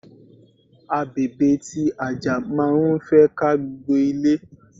Abèbè ti àjà máa ń fẹ́ ká gbogbo ilé.